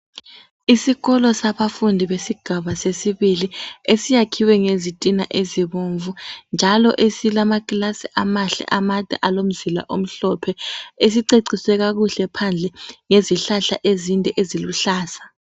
Isikolo sabafundi besigaba sesibili esiyakhiwe ngezitina ezibomvu njalo esilamakilasi amahle amade alomzila omhlophe esiceciswe kakuhle phandle ngezihlahla ezinde eziluhlaza.